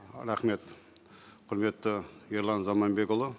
рахмет құрметті ерлан заманбекұлы